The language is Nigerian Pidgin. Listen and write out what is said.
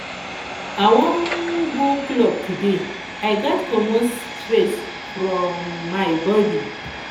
i wan um go club today i gats comot stress from um my um bodi